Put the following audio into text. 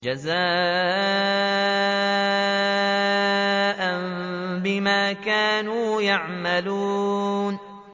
جَزَاءً بِمَا كَانُوا يَعْمَلُونَ